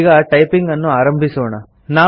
ಈಗ ಟೈಪಿಂಗ್ ಅನ್ನು ಆರಂಭಿಸೋಣ